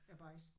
Bajsen